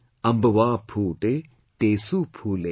Ambwa phoote, Tesu phoole